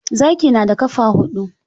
Zaki na da ƙafa huɗu.